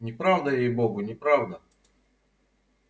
неправда ей-богу неправда